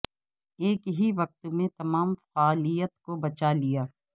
ایک ہی وقت میں تمام فعالیت کو بچا لیا